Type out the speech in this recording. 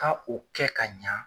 K'a k'o kɛ ka ɲa